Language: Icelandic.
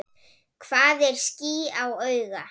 Hvað er ský á auga?